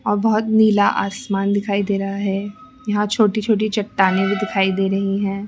अ बहोत नीला आसमान दिखाई दे रहा है यहां छोटी छोटी चट्टाने भी दिखाई दे रहीं हैं।